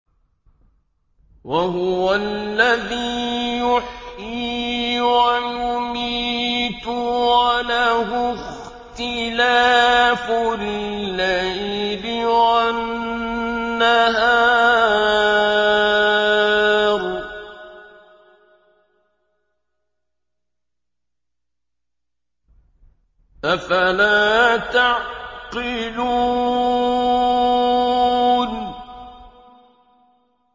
وَهُوَ الَّذِي يُحْيِي وَيُمِيتُ وَلَهُ اخْتِلَافُ اللَّيْلِ وَالنَّهَارِ ۚ أَفَلَا تَعْقِلُونَ